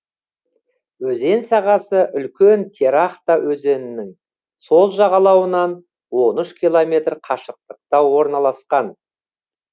өзен сағасы үлкен терехта өзенінің сол жағалауынан он үш километр қашықтықта орналасқан